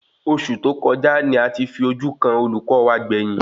Oṣù tó kọjá ní a ti fi ojú kàn olùkọ wa gbẹ̀yìn